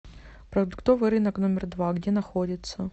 продуктовый рынок номер два где находится